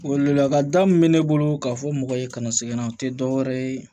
Weleweleda min bɛ ne bolo k'a fɔ mɔgɔ ye kana segin o tɛ dɔwɛrɛ ye